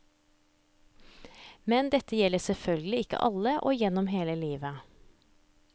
Men dette gjelder selvfølgelig ikke alle og gjennom hele livet.